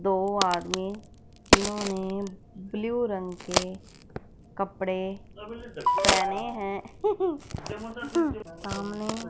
दो आदमी जिन्होंने ब्लू रंग के कपड़े पहने हैं सामने--